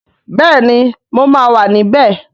Bẹẹni mo máa wà níbẹ̀